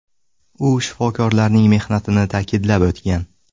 U shifokorlarning mehnatini ta’kidlab o‘tgan.